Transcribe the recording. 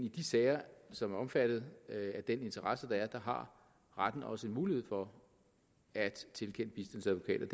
i de sager som er omfattet af den interesse der er har retten også en mulighed for at tilkende en bistandsadvokat